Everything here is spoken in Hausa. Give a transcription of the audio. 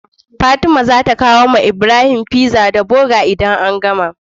Fatima zata kawo wa Ibrahim pizza da burger idan an gama